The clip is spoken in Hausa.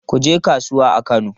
Kun je kasuwa a Kano?